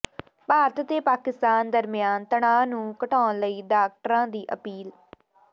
ਭਾਰਤ ਤੇ ਪਾਕਿਸਤਾਨ ਦਰਮਿਆਨ ਤਣਾਅ ਨੂੰ ਘਟਾਉਣ ਲਈ ਡਾਕਟਰਾਂ ਦੀ ਅਪੀਲ